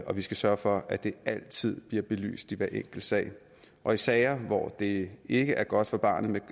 vi skal sørge for at det altid bliver belyst i hver enkelt sag og i sager hvor det ikke er godt for barnet